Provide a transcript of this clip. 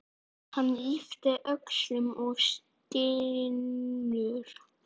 Hann ypptir öxlum og stynur.